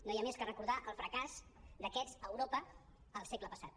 no hi ha més que recordar el fracàs d’aquests a europa al segle passat